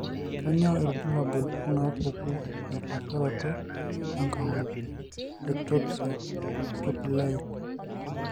Kainyio irbulabul onaapuku empaasharoto enkong'u (eEctopia pupillae)?